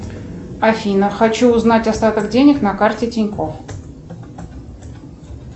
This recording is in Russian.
афина хочу узнать остаток денег на карте тинькофф